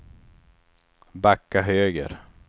backa höger